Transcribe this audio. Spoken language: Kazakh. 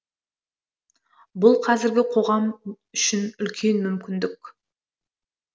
бұл қазіргі қоғам үшін үлкен мүмкіндік